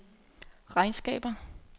regnskaber